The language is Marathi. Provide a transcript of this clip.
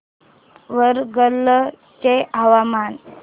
वरंगल चे हवामान